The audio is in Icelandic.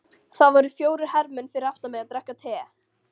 Það voru fjórir hermenn fyrir aftan mig að drekka te.